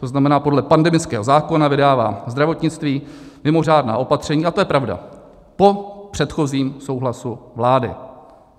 To znamená, podle pandemického zákona vydává zdravotnictví mimořádná opatření, a to je pravda, po předchozím souhlasu vlády.